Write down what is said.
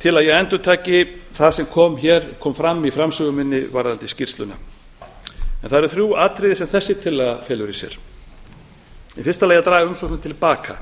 til að ég endurtaki það sem hér kom fram í framsögu minni varðandi skýrsluna en það eru þrjú atriði sem þessi tillaga felur í sér í fyrsta lagi að draga umsóknina til baka